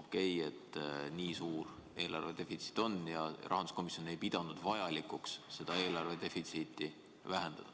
okei, et meil on nii suur eelarve defitsiit ja kas rahanduskomisjon ei pidanud vajalikuks seda vähendada?